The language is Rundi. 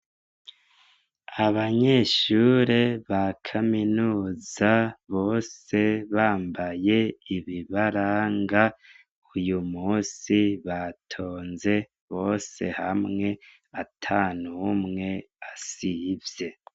Abanyeshure ba kaminuza bose bambaye ibibaranga uyumusi batonze bose hamwe atanumwe asivye.